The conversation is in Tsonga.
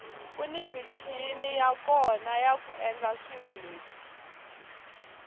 kuni michini ya kona yaku endla swilo leswi